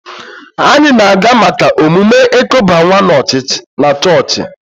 Anyị na-aga maka emume ịkuba nwa na chọọchị